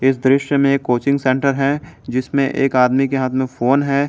इस दृश्य में एक कोचिंग सेंटर है जिसमें एक आदमी के हाथ में फोन है।